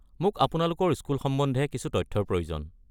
মোক আপোনালোকৰ স্কুল সম্বন্ধে কিছু তথ্যৰ প্ৰয়োজন।